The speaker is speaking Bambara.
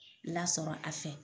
Lasɔrɔ a fɛ